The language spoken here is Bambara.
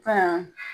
Ka